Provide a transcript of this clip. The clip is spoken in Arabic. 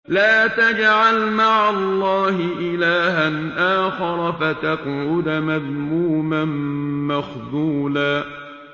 لَّا تَجْعَلْ مَعَ اللَّهِ إِلَٰهًا آخَرَ فَتَقْعُدَ مَذْمُومًا مَّخْذُولًا